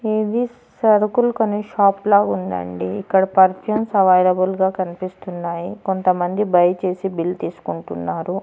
ఇది సరుకుల్ కొనే షాపు లాగుందండి ఇక్కడ అవైలబుల్ గా కనిపిస్తున్నాయి కొంతమంది బయ్ చేసి బిల్ తీసుకుంటున్నారు.